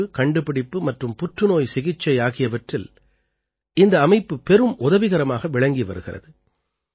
ஆய்வு கண்டுபிடிப்பு மற்றும் புற்றுநோய் சிகிச்சை ஆகியவற்றில் இந்த அமைப்பு பெரும் உதவிகரமாக விளங்கி வருகிறது